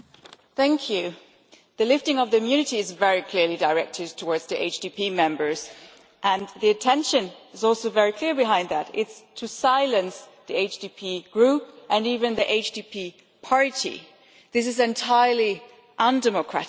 Mr President, the lifting of the immunity is very clearly directed toward the HDP Members and the intention is also very clear behind that, it is to silence the HDP Group and even the HDP party. This is entirely undemocratic.